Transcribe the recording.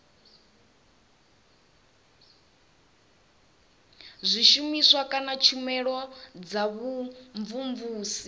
zwishumiswa kana tshumelo dza vhumvumvusi